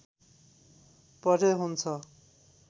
पढे हुन्छ